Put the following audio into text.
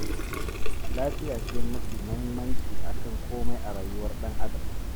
Lafiya ce mafi muhimmanci a kan komai a rayuwar ɗan Adam.